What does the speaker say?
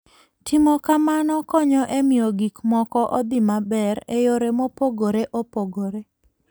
Timo kamano konyo e miyo gik moko odhi maber e yore mopogore opogore.